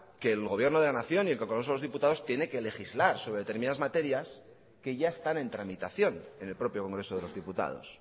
que el gobierno de la nación y el congreso de los diputados tiene que legislar sobre determinadas materias que ya están en tramitación en el propio congreso de los diputados